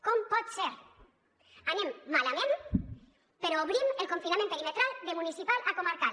com pot ser anem malament però obrim el confinament perimetral de municipal a comarcal